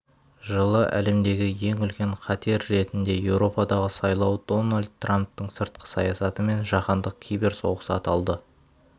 жылы әлемдегі ең үлкен қатер ретінде еуропадағы сайлау дональд трамптың сыртқы саясаты мен жаһандық киберсоғыс аталды